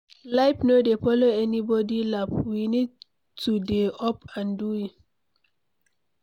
Life no dey follow anybody laff, we need to dey up and doing